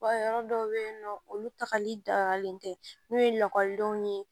Yɔrɔ dɔw bɛ yen nɔ olu tagali dafalen tɛ n'u ye lakɔlidenw ye